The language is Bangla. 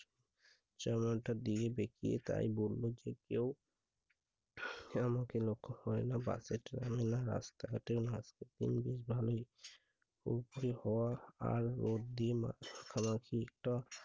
চেওড়াটার দিকে বেকিয়ে তাই বললো যে কেউ আমাকে লক্ষ্য করে রাস্তাঘাটে উপরি হওয়া আর রড দিয়ে মাথা খাওয়া